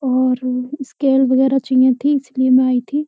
और स्केल वगैरह चाहिए थी इसलिए मैं आई थी।